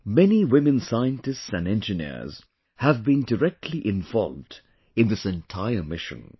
Many women scientists and engineers have been directly involved in this entire mission